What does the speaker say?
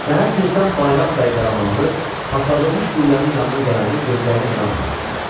Səhər tezdən Bayram bəy Qaramanlı partladılmış qüllənin yanına gələndə gözlərinə inanmadı.